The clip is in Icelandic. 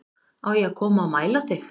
Á ég að koma og mæla þig